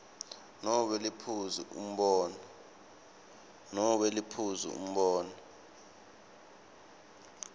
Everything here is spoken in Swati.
nobe liphuzu umbono